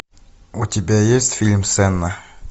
у тебя есть фильм сенна